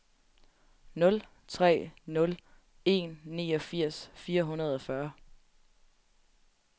nul tre nul en niogfirs fire hundrede og fyrre